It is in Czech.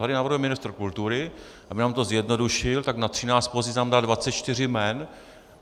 Tady navrhuje ministru kultury, aby nám to zjednodušil, tak na 13 pozic nám dá 24 jmen.